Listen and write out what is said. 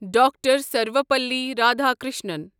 doctor Sarvepalli Radhakrishnan